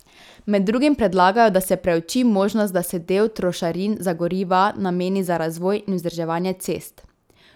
Med drugim predlagajo, da se preuči možnost, da se del trošarin za goriva nameni za razvoj in vzdrževanje cest.